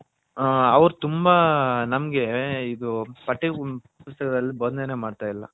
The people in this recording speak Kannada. ಅವರು ತುಂಬಾ ನಮಿಗೆ ಪಟ್ಟ ಪುಸ್ತಕದಲ್ಲಿ ಬೊದನೆ ಮಾಡ್ತಾ ಇಲ್ಲ.